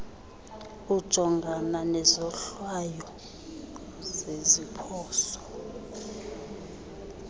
ujongana nezohlwayo zeziphoso